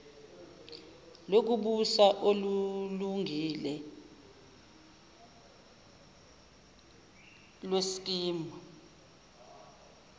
lokubusa olulungile lweskimu